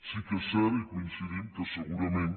sí que és cert hi coincidim que segurament